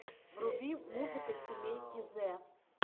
вруби музыка семейки зэ